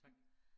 Tak